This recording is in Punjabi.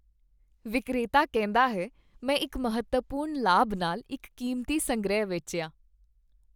ਵਿਕਰੇਤਾ ਕਹਿੰਦਾ ਹੈ, ਮੈਂ ਇੱਕ ਮਹੱਤਵਪੂਰਣ ਲਾਭ ਨਾਲ ਇੱਕ ਕੀਮਤੀ ਸੰਗ੍ਰਹਿ ਵੇਚਿਆ